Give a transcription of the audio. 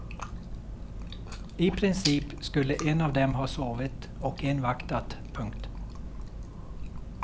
I princip skulle en av dem ha sovit och en vaktat. punkt